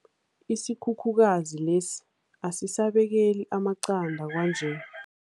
Isikhukhukazi lesi asisabekeli amaqanda kwanje.